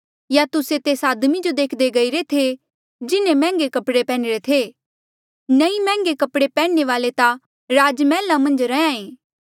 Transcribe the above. या तुस्से तेस आदमी जो देखदे गईरे थे जिन्हें मैहंगे कपड़े पैहनी रे थे नीं मैहंगे कपड़े पैन्ह्णे वाल्ऐ ता राजमहला मन्झ रैंहयां ऐें